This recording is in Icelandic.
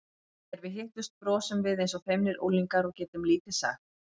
Þegar við hittumst brosum við eins og feimnir unglingar og getum lítið sagt.